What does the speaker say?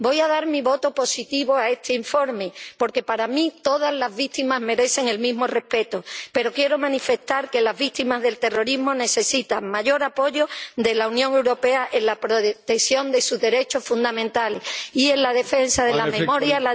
Voy a dar mi voto positivo a este informe porque para mí todas las víctimas merecen el mismo respeto, pero quiero manifestar que las víctimas del terrorismo necesitan mayor apoyo de la Unión Europea en la protección de sus derechos fundamentales y en la defensa de la memoria, la dignidad y la justicia.